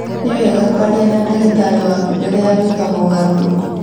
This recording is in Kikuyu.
Nĩ wega kwaria na ndagĩtarĩ waku mbere ya gwĩka mogarũrũku